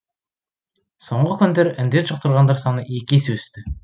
соңғы күндері індет жұқтырғандар саны екі есе өсті